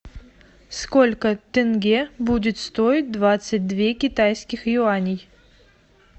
сколько тенге будет стоить двадцать две китайских юаней